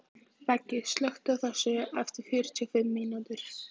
Beggi, slökktu á þessu eftir fjörutíu og fimm mínútur.